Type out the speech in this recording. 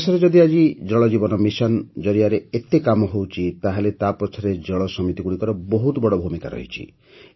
ଦେଶରେ ଯଦି ଆଜି ଜଳ ଜୀବନ ମିଶନ୍ ଜରିଆରେ ଏତେ କାମ ହେଉଛି ତାହେଲେ ତା ପଛରେ ଜଳ ସମିତିଗୁଡ଼ିକର ବହୁତ ବଡ଼ ଭୂମିକା ରହିଛି